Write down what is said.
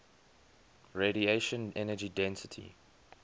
radiation energy density